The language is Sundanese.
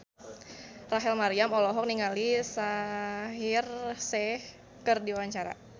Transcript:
Rachel Maryam olohok ningali Shaheer Sheikh keur diwawancara